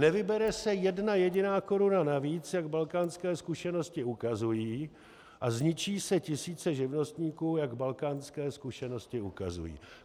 Nevybere se jedna jediná koruna navíc, jak balkánské zkušenosti ukazují, a zničí se tisíce živnostníků, jak balkánské zkušenosti ukazují.